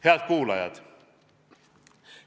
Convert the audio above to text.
Head kuulajad!